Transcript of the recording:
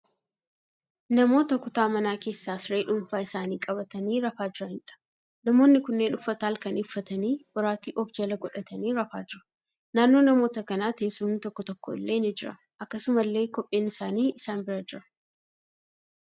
Namoota kutaa manaa keessa siree dhuunfaa isaanii qabatanii rafaa jiraniidha. Namoonni kunneen uffata halkanii uffatanii boraatii ofi jala godhatanii rafaa jiru. Naannoo namoota kanaa teessumni tokko tokko illee ni jira. Akkasumallee kopheen isaanii isaan bira jira.